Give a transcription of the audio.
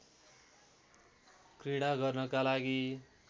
घृणा गर्नका लागि